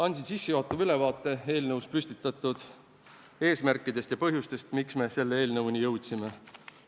Andsin sissejuhatava ülevaate eelnõus püstitatud eesmärkidest ja põhjustest, miks me selle eelnõuni jõudsime.